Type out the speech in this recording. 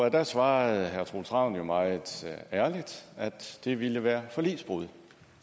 og der svarede troels ravn jo meget ærligt at det ville være forligsbrud